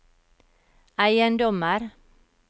eiendommer